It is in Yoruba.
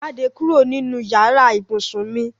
Jáde kúrò nínú yàrá ibùsùn mi!